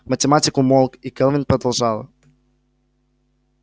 математик умолк и кэлвин продолжала